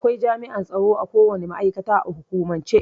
Akwai jami'an tsaro akowane ma'aikata a hukumance.